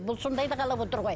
бұл сондайды қалап отыр ғой